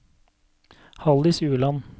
Halldis Ueland